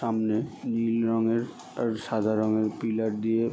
সামনে নীল রং এর সাদা রং এর পিলার দিয়ে ।